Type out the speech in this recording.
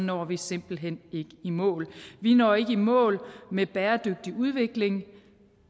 når vi simpelt hen ikke i mål vi når ikke i mål med bæredygtig udvikling